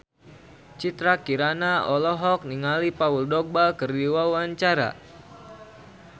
Citra Kirana olohok ningali Paul Dogba keur diwawancara